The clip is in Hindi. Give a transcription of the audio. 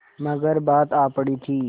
मगर बात आ पड़ी थी